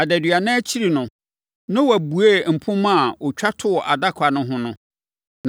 Adaduanan akyiri no, Noa buee mpomma a ɔtwa too adaka no ho no,